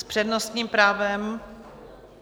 S přednostním právem?